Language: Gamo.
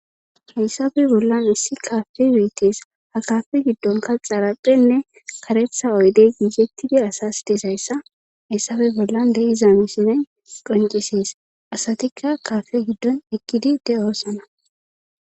hayssape bollan issi kaafe beetes ha kaafe giddonkaxarapphenne karetha oydey gigettidi asas disayssa hayssabe bollan de7iza misinay qoncisees asatikka kaafe giddon ekkidi de7osana